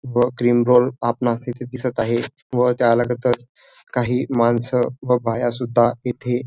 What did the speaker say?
व cream roll आपणास येथे दिसत आहे व त्या लगतच काही मानस व बाया सुद्धा येथे--